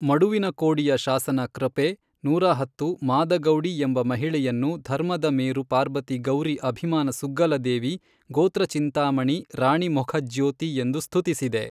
ಮಡುವಿನಕೋಡಿಯ ಶಾಸನ ಕೃಪೇ ನೂರಹತ್ತು ಮಾದಗೌಡಿ ಎಂಬ ಮಹಿಳೆಯನ್ನು ಧರ್ಮದ ಮೇರು ಪಾರ್ಬತಿ ಗೌರಿ ಅಭಿಮಾನ ಸುಗ್ಗಲದೇವಿ ಗೋತ್ರಚಿಂತಾಮಣಿ ರಾಣಿಮೊಖಜ್ಯೋತಿ ಎಂದು ಸ್ಥುತಿಸಿದೆ.